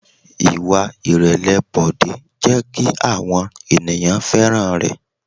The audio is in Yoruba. Ìwà ìrẹ̀lẹ̀ Bọ̀dé jẹ́ kí àwọn ènìyàn fẹ́ràn rẹ̀.